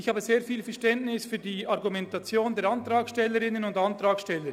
Ich habe sehr viel Verständnis für die Argumentation der Antragstellerinnen und Antragsteller.